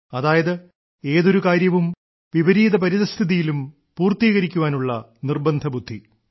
അതായത് ഏതൊരു കാര്യവും വിപരീത പരിസ്ഥിതിയിലും പൂർത്തീകരിക്കാനുള്ള നിർബ്ബന്ധബുദ്ധി